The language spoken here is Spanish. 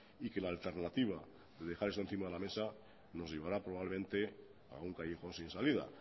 y que la alternativa de dejar esto encima de la mesa nos llevará probablemente a un callejón sin salida